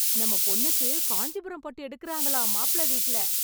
நம்ம பொண்ணுக்கு காஞ்சிபுரம் பட்டு எடுக்குறாங்களாம் மாப்பிள்ள வீட்ல.